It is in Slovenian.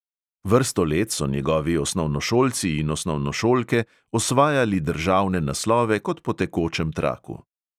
Vrsto let so njegovi osnovnošolci in osnovnošolke osvajali državne naslove kot po tekočem traku.